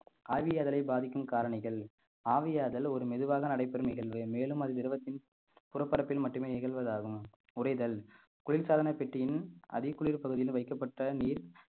ஆவியாதலை பாதிக்கும் காரணிகள் ஆவியாதல் ஒரு மெதுவாக நடைபெறும் நிகழ்வு மேலும் அதில் திரவத்தின் புறப்பரப்பில் மட்டுமே நிகழ்வதாகும் உறைதல் குளிர்சாதனப் பெட்டியின் அதிக குளிர் பகுதியில் வைக்கப்பட்ட நீர்